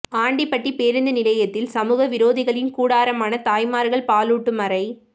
ஆண்டிபட்டி பேருந்து நிலையத்தில் சமூக விரோதிகளின் கூடாரமான தாய்மார்கள் பாலூட்டும் அறை